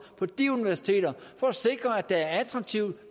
på de universiteter for at sikre at der er attraktive